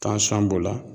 b'o la